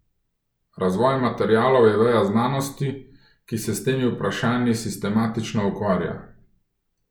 Razvoj materialov je veja znanosti, ki se s temi vprašanji sistematično ukvarja.